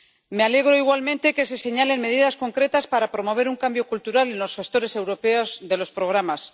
Me alegro igualmente de que se señalen medidas concretas para promover un cambio cultural en los gestores europeos de los programas.